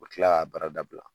U bɛ tila k'a baara dabila